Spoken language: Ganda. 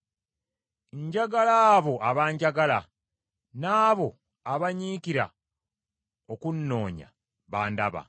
Njagala abo abanjagala, n’abo abanyiikira okunnoonya bandaba.